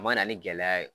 A mana ni gɛlɛya ye